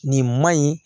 Nin man ɲi